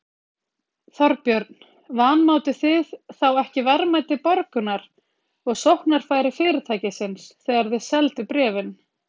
Þorbjörn: Vanmátuð þið þá ekki verðmæti Borgunar og sóknarfæri fyrirtækisins þegar þið selduð bréfin?